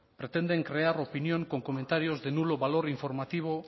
pretenden crear opinión con comentarios de nulo valor informativo